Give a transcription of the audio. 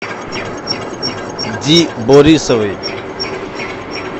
ди борисовой